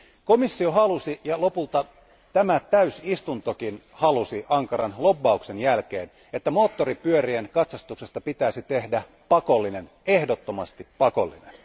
Komissio halusi, ja lopulta tämä täysistuntokin halusi ankaran lobbauksen jälkeen, että kaikkien moottoripyörien katsastuksesta pitäisi tehdä pakollinen, ehdottomasti pakollinen.